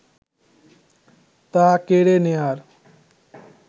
তা কেড়ে নেয়ার